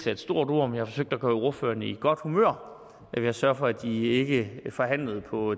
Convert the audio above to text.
er et stort ord forsøgte at gøre ordførerne i godt humør ved at sørge for at de ikke forhandlede på